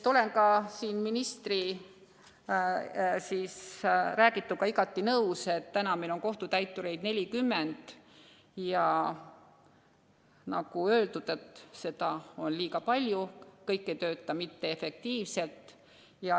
Olen ministriga igati nõus, meil on 40 kohtutäiturit ja nagu öeldud, seda on liiga palju, kõik ei tööta efektiivselt.